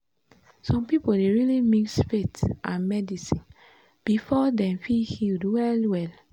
some people dey really mix faith and medicine before dem feel healed well-well.